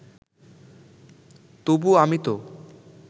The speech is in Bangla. তবু আমি তো